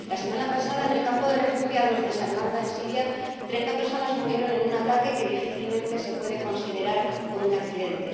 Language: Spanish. La semana pasada, en el campo de refugiados de Sarmanda, en Siria, treinta personas murieron en un ataque que difícilmente se puede considerar un accidente.